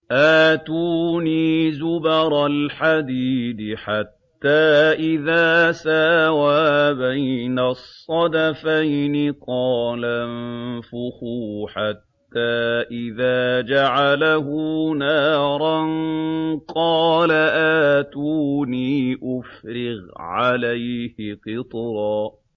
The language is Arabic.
آتُونِي زُبَرَ الْحَدِيدِ ۖ حَتَّىٰ إِذَا سَاوَىٰ بَيْنَ الصَّدَفَيْنِ قَالَ انفُخُوا ۖ حَتَّىٰ إِذَا جَعَلَهُ نَارًا قَالَ آتُونِي أُفْرِغْ عَلَيْهِ قِطْرًا